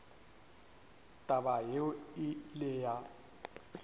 taba yeo e ile ya